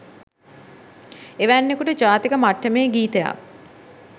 එවැන්කුට ජාතික මට්ටමේ ගීතයක්